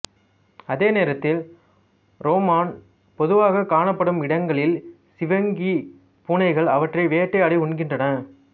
அதேநேரத்தில் ரோ மான் பொதுவாக காணப்படும் இடங்களில் சிவிங்கி பூனைகள் அவற்றை வேட்டையாடி உண்கின்றன